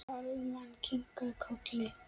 Kalman kinkaði kolli.